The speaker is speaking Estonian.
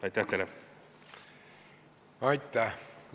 Aitäh!